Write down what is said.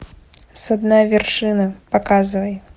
со дна вершины показывай